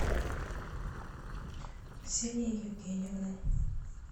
ксения евгеньевна